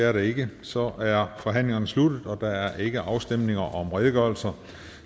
er der ikke så er forhandlingerne sluttet og der er ikke afstemninger om redegørelser